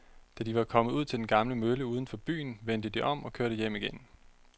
Da de var kommet ud til den gamle mølle uden for byen, vendte de om og kørte hjem igen.